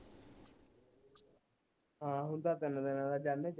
ਹਾਂ ਹੁਣ ਤਾ ਤਿੰਨ ਦਿਨਾਂ ਦਾ ਜਾਣੇ